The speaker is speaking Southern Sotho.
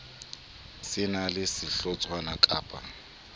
se na le sehlotshwana kappa